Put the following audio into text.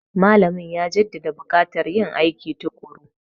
Malamin ya jaddada bukatar yin aiki tukuru.